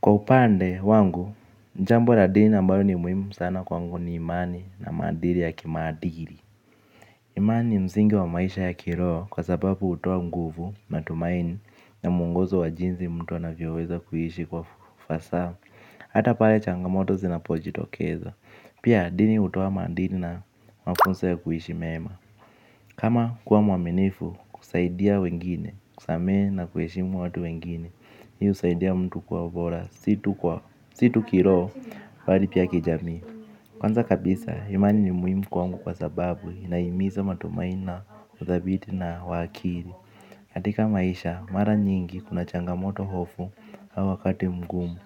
Kwa upande wangu, jambo la dini ambayo ni muhimu sana kwangu ni imani na maadili ya kimaadili. Imani ni msingi wa maisha ya kiroho kwa sababu hutoa nguvu matumaini na mungozo wa jinsi mtu anavyoweza kuishi kwa ufasaha. Hata pale changamoto zinapojitokeza pia dini hutoa maadili na makosa ya kuishi meema. Kama kuwa mwaminifu kusaidia wengine, kusamehe na kuheshimu watu wengine. Hii husaidia mtu kuwa bora si tu kwa si tu kiroho bali pia kijamii. Kwanza kabisa, imani ni muhimu kwangu kwa sababu inahimiza matumaini na, udhabiti na wa akili katika maisha, mara nyingi kuna changamoto hofu au wakati mgumu.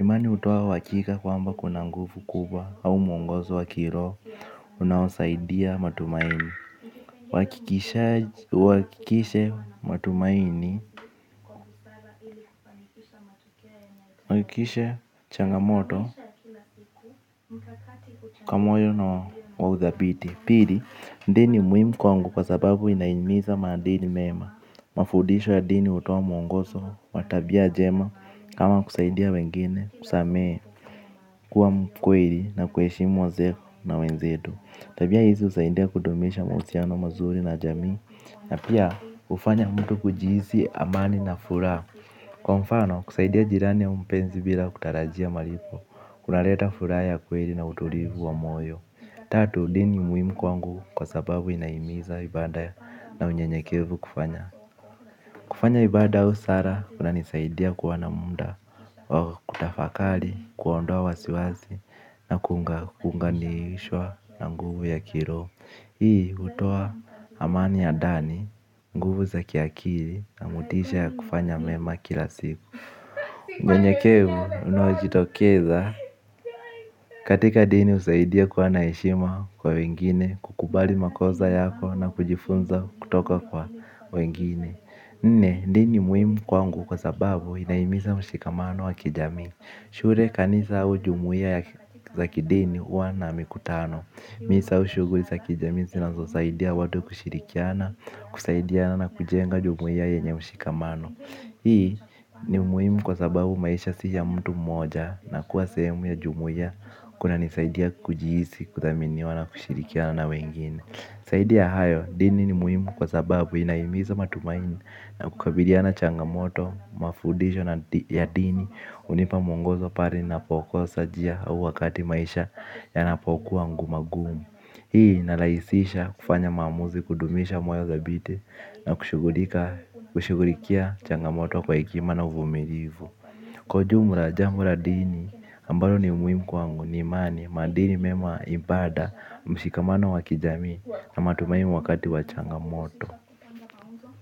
Imani hutoa uhakika kwamba kuna nguvu kubwa au mwongozo wa kiroho. Unaosaidia matumaini uhakikishe matumaini hakikishe changamoto kwa moyo na wa udhabiti. Pili, dini ni muhimu kwangu kwa sababu inahimiza maadili mema. Mafundisho ya dini hutoa mwongozo wa tabia njema. Kama kusaidia wengine kusamehe kuwa mkweli na kuheshimu wazee na wenzetu. Tabia hizi husaidia kudumisha mahusiano mazuri na jamii na pia hufanya mtu kujihisi amani na furaha. Kwa mfano, kusaidia jirani au mpenzi bila kutarajia malipo. Kunaleta furaha ya kweli na utulivu wa moyo. Tatu, dini ni muhimu kwangu kwa sababu inahimiza ibada na unyenyekevu kufanya. Kufanya ibada au sala, kunanisaidia kuwa na muda wa kutafakari, kuondoa wasiwasi na kuunganishwa na nguvu ya kiroho. Hii hutoa amani ya ndani, nguvu za kiakili na motisha ya kufanya mema kila siku unyenyekevu unaojitokeza katika dini husaidia kuwa na heshima kwa wengine, kukubali makosa yako na kujifunza kutoka kwa wengine. Nne, dini ni muhimu kwangu kwa sababu inahimiza mshikamano wa kijamii. Shule kanisa au jumuia za kidini huwa na mikutano. Misa au shughuli za kijamii zinazosaidia watu kushirikiana, kusaidiana na kujenga jumuia yenye mshikamano. Hii ni muhimu kwa sababu maisha si ya mtu mmoja na kuwa sehemu ya jumuia kunanisaidia kujihisi kuthaminiwa na kushirikiana na wengine zaidi ya hayo dini ni muhimu kwa sababu inahimiza matumaini na kukabiliana na changamoto, mafundisho na ya dini hunipa mungozo pale ninapokosa njia au wakati maisha yanapokuwa magumu. Hii inarahisisha kufanya maamuzi kudumisha moyo dhabiti na kushughulikia changamoto kwa hekima na uvumilivu. Kwa ujumla jambo la dini ambalo ni muhimu kwangu ni imani. Maadili mema ibada mshikamano wa kijamii na matumaini wakati wa changamoto.